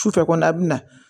Sufɛ kɔni a bɛ na